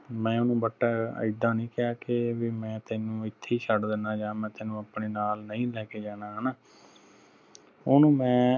ਮੈਂ ਓਹਨੂੰ but ਇਦਾ ਨਹੀਂ ਕਹਿ ਕੇ ਬਈ ਮੈਂ ਤੈਨੂੰ ਇੱਥੇ ਛੱਡ ਦੀਨਾ ਜਾ ਮੈਂ ਤੈਨੂੰ ਆਪਣੇ ਨਾਲ ਨਹੀਂ ਲੈ ਕੇ ਜਾਣਾ ਹਣਾ ਓਹਨੂੰ ਮੈਂ